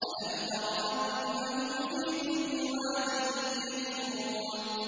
أَلَمْ تَرَ أَنَّهُمْ فِي كُلِّ وَادٍ يَهِيمُونَ